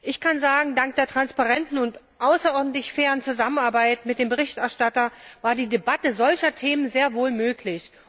Ich kann sagen, dank der transparenten und außerordentlich fairen Zusammenarbeit mit dem Berichterstatter war die Debatte solcher Themen sehr wohl möglich.